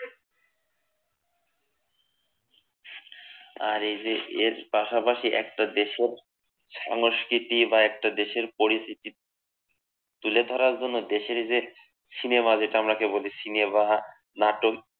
আর এই যে এর পাশাপাশি একটা দেশের সংস্কৃতি বা একটা দেশের পরিচিতি তুলে ধরার জন্য দেশের যে সিনেমা যেটা বলি সিনেমা নাটক